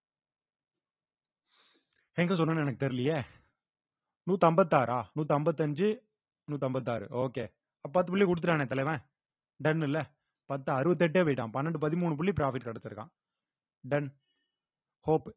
எங்க சொன்னேன்னு எனக்கு தெரியலயே நூத் அம்பத்தாறா நூத்அம்பத்தி அஞ்சு நூத்அம்பத்தாறு okay அப்ப பத்து புள்ளி குடுத்துட்டானே தலைவன் done இல்ல பத்து அறுவத்தி எட்டே போயிட்டான் பன்னெண்டு பதிமூணு புள்ளி profit கிடைச்சிருக்கான் done hope